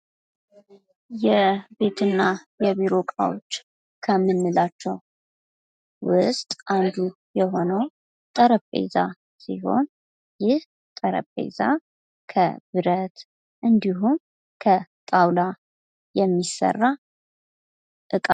የቤት እና የቢሮ እቃዎች ከምንላቸዉ ዉስጥ አንዱ የሆነዉ ጠረጴዛ ሲሆን ይህ ጠረጴዛ ከብረት እንዲሁም ከጣዉላ የሚሰራ እቃ ነዉ።